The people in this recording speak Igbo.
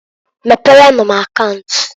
Meprenu m akaunt.